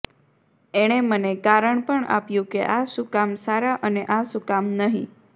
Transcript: એણે મને કારણ પણ આપ્યું કે આ શુકામ સારા અને આ શુકામ નહી